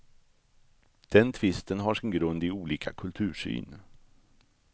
Den tvisten har sin grund i olika kultursyn.